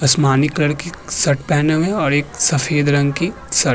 आसमानी कलर के शर्ट पहने हुए है और एक सफेद रंग की शर्ट --